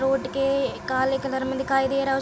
road के काले colour में दिखाई दे रहा है उस --